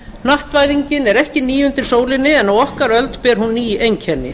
hnattvæðingin er ekki ný undir sólinni en á okkar öld ber hún ný einkenni